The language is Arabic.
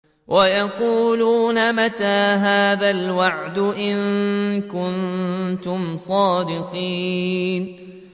وَيَقُولُونَ مَتَىٰ هَٰذَا الْوَعْدُ إِن كُنتُمْ صَادِقِينَ